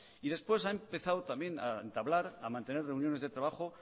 y después ha empezado también a entablar a mantener reuniones de trabajo